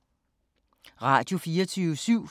Radio24syv